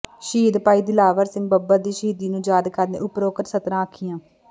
ਸ਼ਹੀਦ ਭਾਈ ਦਿਲਾਵਰ ਸਿੰਘ ਬੱਬਰ ਦੀ ਸ਼ਹੀਦੀ ਨੂੰ ਯਾਦ ਕਰਦਿਆਂ ਉਪਰੋਕਤ ਸਤਰਾਂ ਆਖੀਆਂ